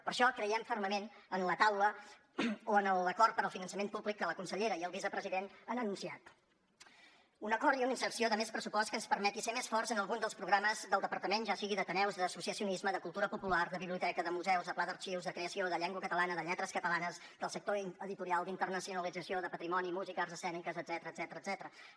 per això creiem fermament en la taula o en l’acord per al finançament públic que la consellera i el vicepresident han anunciat un acord i una inserció de més pressupost que ens permeti ser més forts en algun dels programes del departament ja sigui d’ateneus d’associacionisme de cultura popular de biblioteca de museus de pla d’arxius de creació de llengua catalana de lletres catalanes del sector editorial d’internacionalització de patrimoni música arts escèniques etcètera